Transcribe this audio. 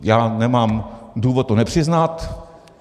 Já nemám důvod to nepřiznat.